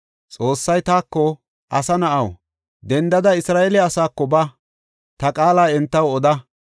Xoossay taako, “Asa na7aw, dendada, Isra7eele asaako ba; ta qaala entaw oda.